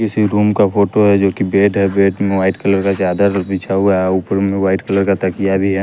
किसी रूम का फोटो है जोकि बेड है बेड में वाइट कलर का चादर उर बिछा हुआ है ऊपर में वाइट कलर का तकिया भी है।